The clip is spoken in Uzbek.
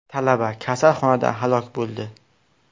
Talaba kasalxonada halok bo‘ldi.